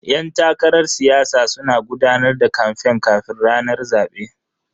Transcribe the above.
Yan takarar siyasa suna gudanar da kamfen kafin ranar zabe.